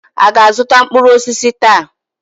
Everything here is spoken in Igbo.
A ga-azụta mkpụrụ osisi taa?